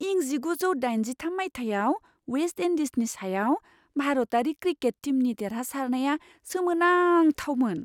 इं जिगुजौ दाइनजिथाम मायथाइयाव वेस्ट इन्डीजनि सायाव भारतारि क्रिकेट टीमनि देरहासारनाया सोमोनांथावमोन।